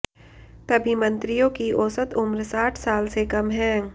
तभी मंत्रियों की औसत उम्र साठ साल से कम है